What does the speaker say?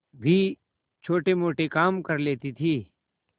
भी छोटेमोटे काम कर लेती थी